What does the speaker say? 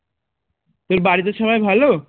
তোর বাড়িতে সবাই ভালো?